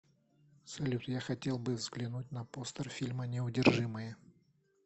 салют я хотел бы взглянуть на постер фильма неудержимые